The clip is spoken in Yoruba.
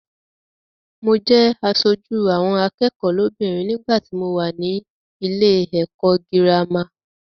Mo jẹ aṣojú àwọn akẹ́kọ̀ọ́ lóbìnrin nígbàtí mo wà nílé ẹ̀kọ́ gírámà.